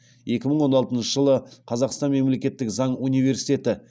екі мың он алтыншы жылы қазақстан мемлекеттік заң университеті